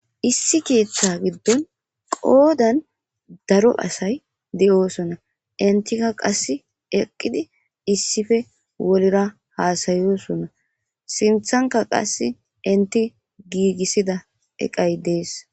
Issi ketha gidon qodan daro asay de'osona , entiaka qase issippe wola hasa'osona,sinthanka qase enti giigisida eqay Des.